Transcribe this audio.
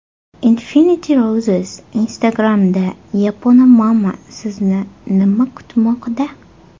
Infinity Roses Instagram’da Yaponamama Sizni nima kutmoqda?